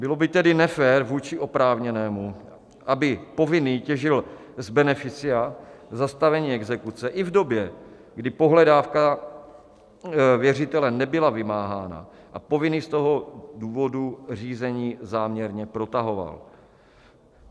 Bylo by tedy nefér vůči oprávněnému, aby povinný těžil z beneficia zastavení exekuce i v době, kdy pohledávka věřitele nebyla vymáhána a povinný z toho důvodu řízení záměrně protahoval.